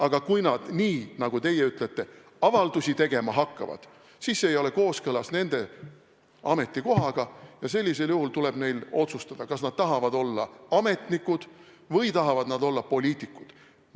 Aga kui nad – nii nagu teie ütlete – avaldusi tegema hakkavad, siis see ei ole kooskõlas nende ametikohaga ja sellisel juhul tuleb neil otsustada, kas nad tahavad olla ametnikud või nad tahavad olla poliitikud.